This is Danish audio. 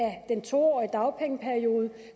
den to årige dagpengeperiode